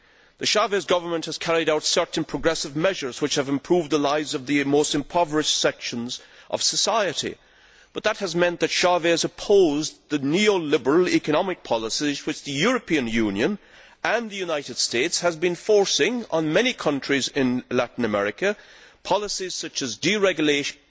The Chávez government has carried out certain progressive measures, which have improved the lives of the most impoverished sections of society, but that has meant that Chávez opposed the neoliberal economic policies which the European Union and the United States have been forcing on many countries in Latin America policies such as deregulation,